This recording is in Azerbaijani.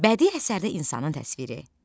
Bədii əsərdə insanın təsviri.